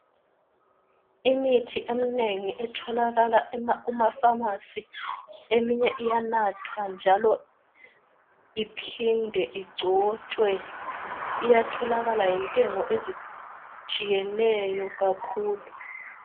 Imithi eminengi etholakala emafamasi eminye iyanatha njalo eminye iphinde igcotshwe, iyatholakala ngentengo ezitshiyeneyo kakhulu.